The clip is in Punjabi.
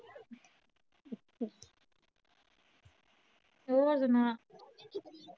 ਹੋਰ ਸੁਣਾ